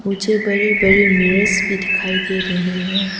मुझे बड़े बड़े मीरर्स भी दिखाई दे रहे हैं।